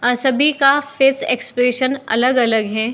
आं सभी का फेस एक्सप्रेशन अलग-अलग है।